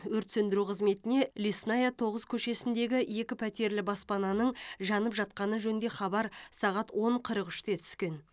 өрт сөндіру қызметіне лесная тоғыз көшесіндегі екі пәтерлі баспананың жанып жатқаны жөнінде хабар сағат он қырық үште түскен